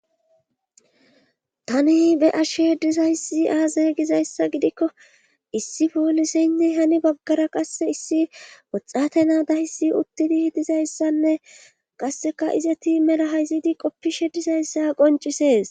Tani be ashshe dizayssi aaze gizayssa gidikko issi pooliseynni hani baggara qasse issi woxate naa dahysi uttidi dizayssanne qasseka ize ti mela hayzidi qoppishe dizayssa qoncisees.